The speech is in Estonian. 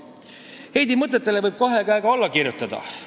Heidi mõtetele võib kahe käega alla kirjutada.